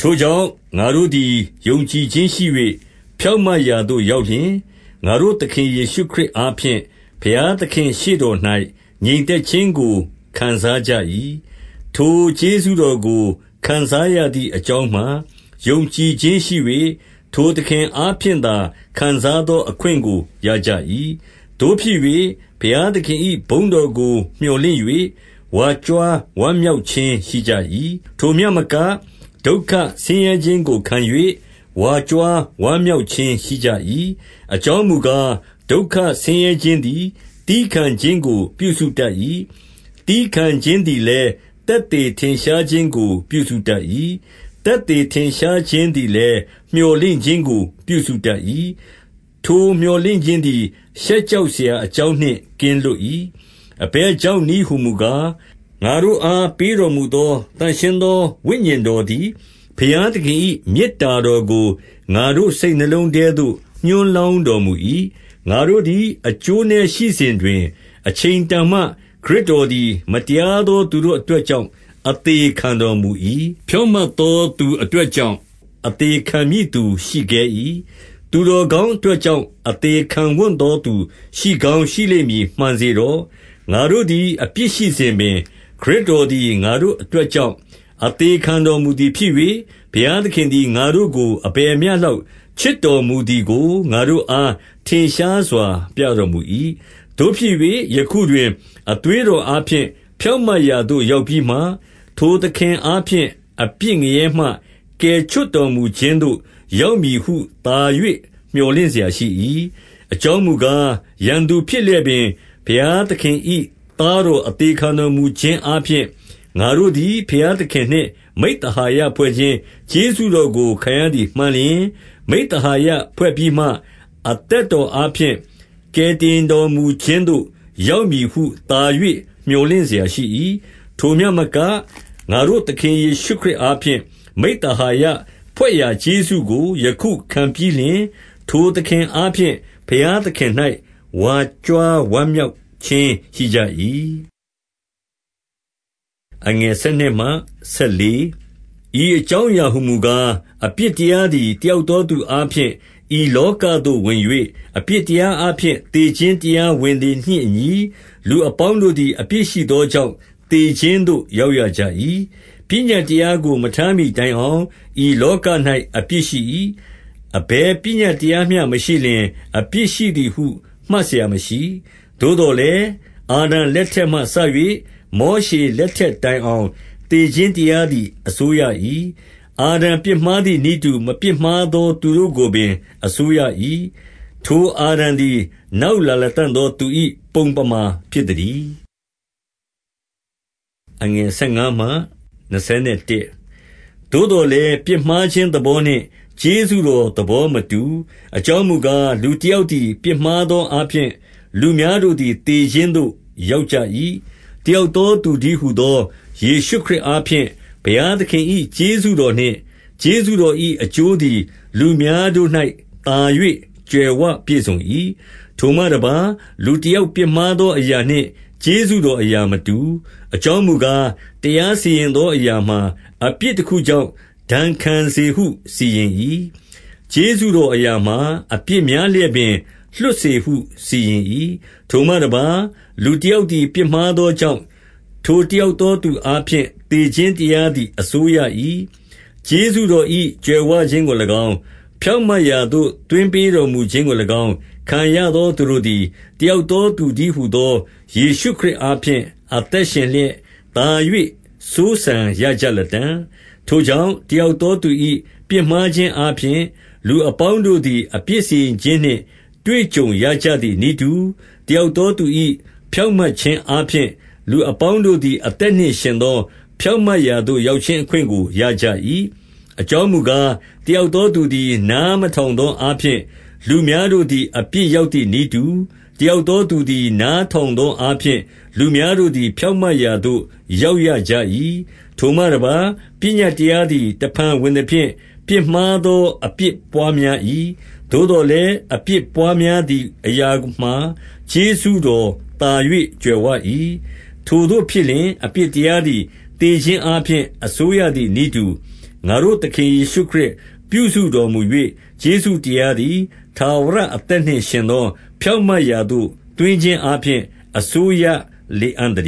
ထိုကြောင့်၊ ငါတို့သည် ယုံကြည်ခြင်းရှိ၍ ဖြောင့်မတ်ရာသို့ရောက်လျှင်၊ ငါတို့သခင်ယေရှုခရစ် အားဖြင့် ဘုရားသခင့်ရှေ့တော်၌ ငြိမ်သက်ခြင်းကို ခံစားကြ၏။ 2 ထိုကျေးဇူးတော်ကို ခံစားရသည်အကြောင်းမှာ ယုံကြည်ခြင်းရှိ၍၊ ထိုသခင်အားဖြင့်သာခံစားသော အခွင့်ကို ရကြ၏။ သို့ဖြစ်၍ ဘုရားသခင်၏ဘုန်းတော်ကို မြော်လင့်၍ ဝါကြွားဝမ်းမြောက်ခြင်းရှိကြ၏။ 3 ထိုမျှမက၊ ဒုက္ခဆင်းရဲခြင်းကိုခံ၍ ဝါကြွား ဝမ်းမြောက်ခြင်းရှိကြ၏။ အကြောင်းမူကား၊ ဒုက္ခ ဆင်းရဲခြင်းသည် သည်းခံခြင်းကို ပြုစုတတ်၏။ 4 သည်းခံခြင်းသည်လည်း သက်သေထင်ရှားခြင်းကို ပြုစုတတ်၏။ သက်သေထင်ရှားခြင်းသည်လည်း မြော်လင့်ခြင်းကို ပြုစုတတ်၏။ 5 ထိုမြော်လင့်ခြင်းသည် ရှက်ကြောက်စရာ အကြောင်းနှင့် ကင်းလွတ်၏။ အဘယ်ကြောင့်နည်းဟူမူ ကား၊ ငါတို့အားပေးတော်မူသောသန့်ရှင်းသော ဝိညာဉ်တော်သည် ဘုရားသခင်၏မေတ္တာတော်ကို ငါတို့ စိတ်နှလုံးထဲသို့ ညွှန်းလောင်းတော်မူ၏။ 6 ငါတို့သည် အကျိုးနည်းရှိစဉ်တွင် အချိန်တန်မှ ခရစ်တော်သည် မတရားသောသူတို့အတွက်ကြောင့် အသေခံတော်မူ၏။ 7 ဖြောင့်မတ်သောသူအတွက်ကြောင့် အသေခံ မည့်သူရှိခဲ၏။ သူတော်ကောင်းအတွက်ကြောင့် အသေခံ ဝံ့သောသူရှိကောင်းရှိလိမ့်မည် မှန်စေတော့။ 8 ငါတို့သည် အပြစ်ရှိစဉ်ပင်၊ ခရစ်တော်သည် ငါတို့အတွက်ကြောင့် အသေခံတော်မူသည်ဖြစ်၍၊ ဘုရား သခင်သည် ငါတို့ကို အဘယ်မျှလောက်ချစ်တော်မူသည်ကို ငါတို့အား ထင်ရှားစွာပြတော်မူ၏။ 9 သို့ဖြစ်၍ ယခုတွင် အသွေးတော်အားဖြင့် ဖြောင့်မတ်ရာသို့ ရောက်ပြီးမှ၊ ထိုသခင်အားဖြင့် အပြစ် ငရဲမှ ကယ်ချွတ်တော်မူခြင်းသို့ ရောက်မည်ဟုသာ၍ မြော်လင့်စရာရှိ၏။ 10 အကြောင်းမူကား၊ ရန်သူဖြစ်လျက်ပင် ဘုရားသခင်၏ သားတော်အသေခံတော်မူခြင်းအားဖြင့်၊ ငါတို့ သည် ဘုရားသခင်နှင့် မိဿဟာယဖွဲ့ခြင်း ကျေးဇူးတော်ကိုခံရသည်မှန်လျှင်၊ မိဿဟာယဖွဲ့ပြီးမှ၊ အသက်တော် အားဖြင့် ကယ်တင်တော်မူခြင်းသို့ ရောက်မည်ဟုသာ၍ မြော်လင့်စရာရှိ၏။ 11 ထိုမျှမက၊ ငါတို့သခင်ယေရှုခရစ်အားဖြင့် မိဿဟာယဖွဲ့ရာ ကျေးဇူးကိုယခုခံပြီးလျှင်၊ ထိုသခင်အား ဖြင့် ဘုရားသခင်၌ ဝါကြွားဝမ်းမြောက်ခြင်းရှိကြ၏။ 12 ဤအကြောင်းအရာဟူမူကား၊ အပြစ်တရားသည် တယောက်သောသူအားဖြင့် ဤလောကသို့ဝင်၍၊ အပြစ်တရားအားဖြင့် သေခြင်း တရားဝင်သည်နှင့်အညီ၊ လူအပေါင်းတို့သည် အပြစ်ရှိသောကြောင့် သေခြင်းသို့ ရောက်ရကြ၏။ 13 ပညတ်တရားကို မထားမှီတိုင်အောင် ဤလောက၌ အပြစ်ရှိ၏။ အဘယ်ပညတ်တရားကိုမျှ မရှိလျှင်၊ အပြစ်ရှိသည်ဟု မှတ်စရာမရှိ၊ 14 သို့သော်လည်း အာဒံလက်ထက်မှစ၍ မောရှေလက်ထက်တိုင်အောင် သေခြင်းတရားသည် အစိုးရ၏။ အာဒံပြစ်မှားသည်နည်းတူ မပြစ်မှားသော သူတို့ကိုပင် အစိုးရ၏။ ထိုအာဒံသည် နောက်လာလတံ့သောသူ၏ ပုံပမာဖြစ်သတည်း။ 15 သို့သော်လည်း၊ ပြစ်မှားခြင်းသဘောနှင့် ကျေးဇူးတော် သဘောမတူ၊ အကြောင်းမူကား၊ လူ တယောက်သည် ပြစ်မှားသောအားဖြင့်၊ လူများတို့သည် သေခြင်းသို့ ရောက်ကြ၏။ တယောက်သောသူတည်း ဟူသော ယေရှုခရစ်အားဖြင့် ဘုရားသခင်၏ ကျေးဇူးတော်နှင့် ကျေးဇူးတော်၏ အကျိုးသည်လူများတို့၌သာ၍ ကြွယ်ဝပြည့်စုံ၏။ 16 ထိုမှတပါး၊ လူတယောက်ပြစ်မှားသောအရာနှင့် ကျေးဇူးတော်အရာမတူ။ အကြောင်းမူကား၊ တရား စီရင်သောအရာမှာ၊ အပြစ်တခုကြောင့် ဒစ်ခံစေဟု စီရင်၏။ ကျေးဇူးတော်အရာမှာ၊ အပြစ်များလျက်ပင် လွှတ်စေဟုစီရင်၏။ 17 ထိုမှတပါး၊ လူတယောက်သည် ပြစ်မှားသောကြောင့်၊ ထိုတယောက်သော သူအားဖြင့် သေခြင်းတရား သည် အစိုးရ၏။ ကျေးဇူးတော်၏ကြွယ်ဝခြင်းကို၎င်း၊ ဖြောင့်မတ်ရာသို့သွင်းပေးတော်မူခြင်းကို၎င်း ခံရသော သူတို့သည် တယောက်သောသူတည်းဟူသော ယေရှုခရစ် အားဖြင့် အသက်ရှင်လျက်သာ၍ စိုးစံရကြလတံ့။ 18 ထိုကြောင့်၊ တယောက်သောသူ၏ပြစ်မှားခြင်းအားဖြင့်၊ လူအပေါင်းတို့သည် အပြစ်စီရင်ခြင်းနှင့် တွေ့ကြုံရကြသည်နည်းတူ၊ တယောက်သောသူ၏ ဖြောင့်မတ်ခြင်းအားဖြင့်၊ လူအပေါင်းတို့သည် အသက်နှင့် ယှဉ်သော ဖြောင့်မတ်ရာသို့ ရောက်ခြင်းအခွင့်ကို ရကြ၏။ 19 အကြောင်းမူကား၊ တယောက်သောသူသည် နားမထောင်သောအားဖြင့်၊ လူများတို့သည် အပြစ် ရောက်သည်နည်းတူ၊ တယောက်သော သူသည် နားထောင်သောအားဖြင့်၊ လူများတို့သည် ဖြောင့်မတ်ရာသို့ ရောက်ရကြ၏။ 20 ထိုမှတပါး၊ ပညတ်တရားသည် တဖန်ဝင်သဖြင့် ပြစ်မှားသောအပြစ်ပွါးများ၏။ သို့သော်လည်း အပြစ်ပွါး များသည် အရာမှာ ကျေးဇူးတော်သာ၍ ကြွယ်ဝ၏။ 21 ထိုသို့ဖြစ်လျှင်၊ အပြစ်တရားသည်သေခြင်းအားဖြင့် အစိုးရသည်နည်းတူ၊ ငါတို့သခင်ယေရှုခရစ် ပြုစုတော်မူ၍ ကျေးဇူးတရားသည် ထာဝရအသက်နှင့် ယှဉ်သော ဖြောင့်မတ်ရာသို့ သွင်းခြင်းအားဖြင့် အစိုးရ လေအံ့သတ